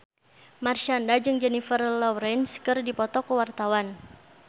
Marshanda jeung Jennifer Lawrence keur dipoto ku wartawan